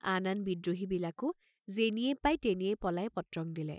আন আন বিদ্ৰোহীবিলাকো যেনিয়েই পাই তেনিয়েই পলাই পত্ৰং দিলে।